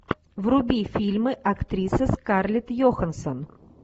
вруби фильмы актриса скарлетт йоханссон